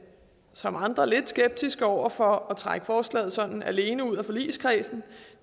som andre lidt skeptiske over for at trække forslaget sådan alene ud af forligskredsen